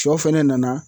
Sɔ fɛnɛ nana